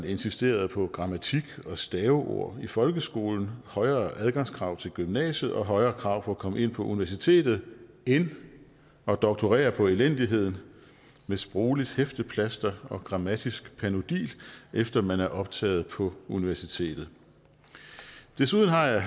insistere på grammatik og staveord i folkeskolen højere adgangskrav til gymnasiet og højere krav for at komme ind på universitetet end at doktorere på elendigheden med sprogligt hæfteplaster og grammatisk panodil efter at man er optaget på universitetet desuden har jeg